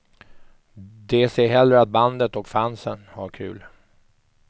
De ser hellre att bandet och fansen har kul.